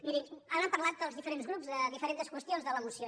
mirin han parlat els diferents grups de diferents qüestions de la moció